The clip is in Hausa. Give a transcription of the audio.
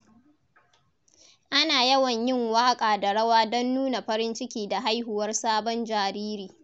Ana yawan yin waƙa da rawa don nuna farin ciki da haihuwar sabon jariri.